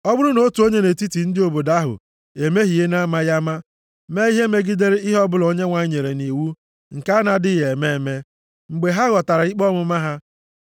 “ ‘Ọ bụrụ na otu onye nʼetiti ndị obodo ahụ emehie na-amaghị ama, mee ihe megidere ihe ọbụla Onyenwe anyị nyere nʼiwu nke a na-adịghị eme eme, mgbe ha ghọtara ikpe ọmụma ha,